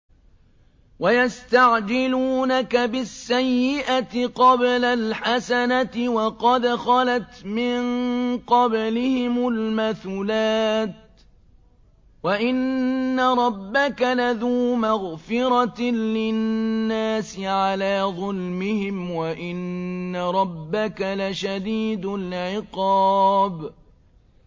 وَيَسْتَعْجِلُونَكَ بِالسَّيِّئَةِ قَبْلَ الْحَسَنَةِ وَقَدْ خَلَتْ مِن قَبْلِهِمُ الْمَثُلَاتُ ۗ وَإِنَّ رَبَّكَ لَذُو مَغْفِرَةٍ لِّلنَّاسِ عَلَىٰ ظُلْمِهِمْ ۖ وَإِنَّ رَبَّكَ لَشَدِيدُ الْعِقَابِ